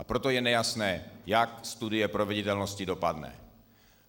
A proto je nejasné, jak studie proveditelnosti dopadne.